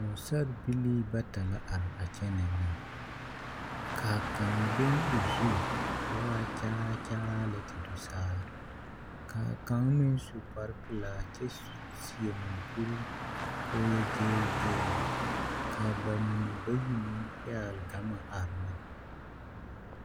Pɔgesarebilii bata la are a kyɛ nɛɛ na ka a kaŋ leŋ o zu ka o waa kyɛraa kyɛraa lɛ te do saa ka a kaŋ meŋ su kparepelaa kyɛ seɛ maŋkuri ka o yɔ gyegre gyegre ka a ba mine bayi meŋ pɛgle gama are ne.